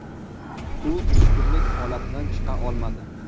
U tushkunlik holatidan chiqa olmadi.